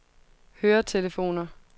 høretelefoner